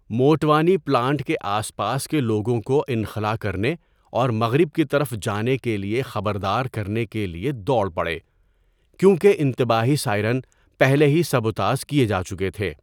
Motwani plant کے آس پاس کے لوگوں کو انخلاء کرنے اور مغرب کی طرف جانے کے لیے خبردار کرنے کے لیے دوڑ پڑے، کیونکہ انتباہی سائرن پہلے ہی سبوتاژ کیے جا چکے تھے۔